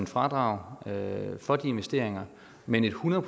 fradrag for de investeringer men et hundrede